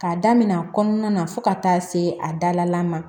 K'a daminɛ a kɔnɔna na fo ka taa se a dala ma